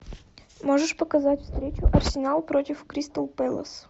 можешь показать встречу арсенал против кристал пэлас